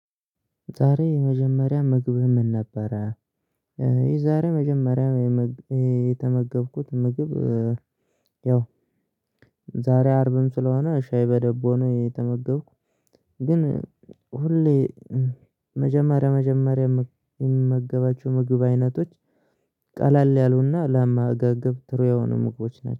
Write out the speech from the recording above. ዛሬ የመጀመሪያ ምግብ ምን ነበረ? የዛሬ የመጀመሪያ የም የተመገብኩት ምግብ። ያው ዛሬ አርብም ስለሆነ ሻይ በዳቦ ነው የተመገብኩ። ግን ሁሌ መጀመሪያ መጀመሪያ የምመገባቸው ምግብ አይነቶች። ቀላል ያሉና ላመጋገብ ጥሩ የሆኑ ምግቦች ናቸው